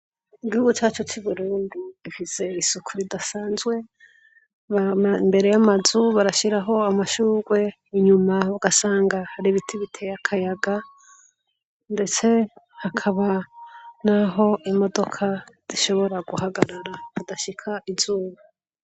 Igihugu cacu c'Uburundi gifise isuku ridasanzwe. Bama imbere y'amazu, barashiraho amashugwe, inyuma ugasanga hari ibiti biteye akayaga ndetse hakaba n'aho imodoka zishobora guhagarara, hadashika izuba.